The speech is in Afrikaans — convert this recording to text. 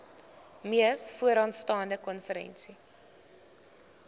mees vooraanstaande konferensie